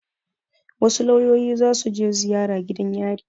Wasu lauyoyi za su je ziyara gidan yari.